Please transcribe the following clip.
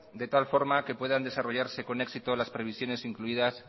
de tal forma que puedan desarrollarse con éxito las previsiones incluidas